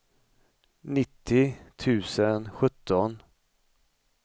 nittio tusen sjutton